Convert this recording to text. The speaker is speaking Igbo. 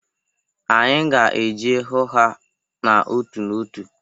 Anyị ga-eje hụ ha n'otu n'otu.